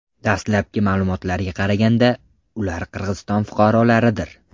Dastlabki ma’lumotlarga qaraganda, ular Qirg‘iziston fuqarolaridir.